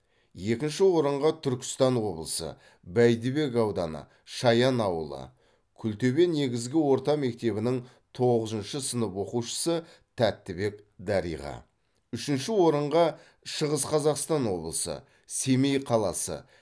екінші орынға түркістан облысы бәйдібек ауданы шаян ауылы күлтөбе негізгі орта мектебінің тоғызыншы сынып оқушысы тәттібек дариға үшінші орынға шығыс қазақстан облысы семей қаласы